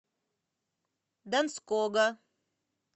донского